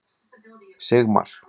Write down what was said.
Sigmar